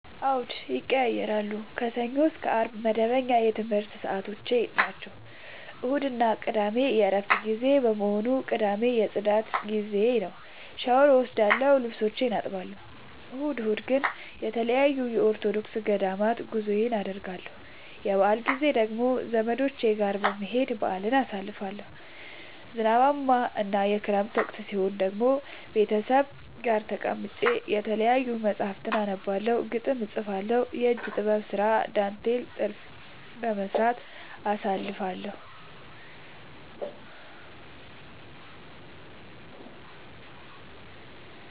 አዎድ ይቀየያራሉ። ከሰኞ እስከ አርብ መደበኛ የትምረት ሰዓቶቼናቸው ቅዳሜና እሁድ የእረፍት ጊዜ በመሆኑ። ቅዳሜ የፅዳት ጊዜዬ ነው። ሻውር እወስዳለሁ ልብሶቼን አጥባለሁ። እሁድ እሁድ ግን ተለያዩ የኦርቶዶክስ ገዳማት ጉዞወችን አደርገለሁ። የበአል ጊዜ ደግሞ ዘመዶቼ ጋር በመሄድ በአልን አሳልፋለሁ። ዝናባማ እና የክረምት ወቅት ሲሆን ደግሞ ቤተሰብ ጋር ተቀምጬ የተለያዩ ደራሲያን መፀሀፍቶችን አነባለሁ፤ ግጥም እጥፋለሁ፤ የእጅ ጥበብ ስራ ዳንቴል ጥልፍ በመስራት አሳልፍለሁ።